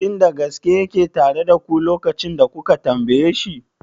Shin da gaske yake tare da ku lokacin da kuka tambaye shi?